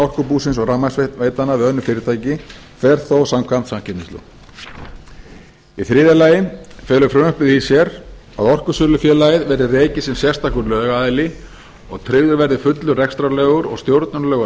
orkubúsins og rafmagnsveitnanna við önnur fyrirtæki fer þó samkvæmt samkeppnislögum í þriðja lagi felur frumvarpið í sér að orkusölufélagið verði rekið sem sérstakur lögaðili og að tryggður verði fullur rekstrarlegur og stjórnunarlegur